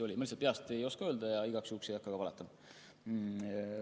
Ma peast ei oska öelda ja igaks juhuks ei hakka ka oletama.